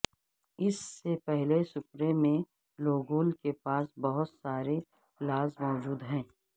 اس سے پہلے سپرے میں لوگول کے پاس بہت سارے پلاز موجود ہیں